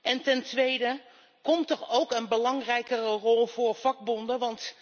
En ten tweede komt er ook een belangrijkere rol voor vakbonden?